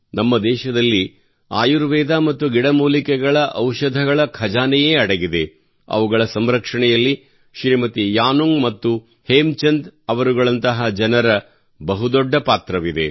ನಮ್ಮ ದೇಶದಲ್ಲಿ ಆಯುರ್ವೇದ ಮತ್ತು ಗಿಡಮೂಲಿಕೆಗಳ ಔಷಧಗಳ ಖಜಾನೆಯೇ ಅಡಗಿದೆ ಅವುಗಳ ಸಂರಕ್ಷಣೆಯಲ್ಲಿ ಶ್ರೀಮತಿ ಯಾನುಂಗ್ ಮತ್ತು ಹೇಮಚಂದ್ ಅವರುಗಳಂತಹ ಜನರ ಬಹು ದೊಡ್ಡ ಪಾತ್ರವಿದೆ